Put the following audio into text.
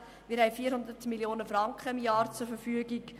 Wir haben pro Jahr 400 Mio. Franken zur Verfügung.